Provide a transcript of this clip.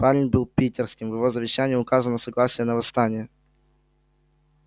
парень был питерским в его завещании указано согласие на восстание